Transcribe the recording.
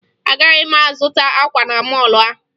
Agaghị m azụta akwa na mọọlụ ahụ